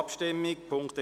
Abstimmung (Ziff.